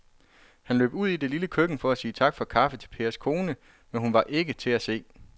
Han løb ud i det lille køkken for at sige tak for kaffe til Pers kone, men hun var ikke til at se.